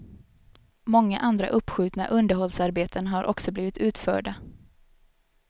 Många andra uppskjutna underhållsarbeten har också blivit utförda.